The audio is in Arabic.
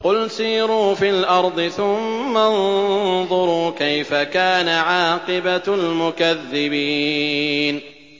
قُلْ سِيرُوا فِي الْأَرْضِ ثُمَّ انظُرُوا كَيْفَ كَانَ عَاقِبَةُ الْمُكَذِّبِينَ